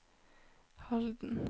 Halden